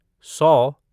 सौ